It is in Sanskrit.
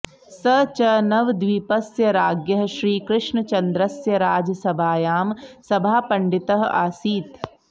स च नवद्वीपस्य राज्ञः श्रीकृष्णचन्द्रस्य राजसभायां सभापण्डित आसीत्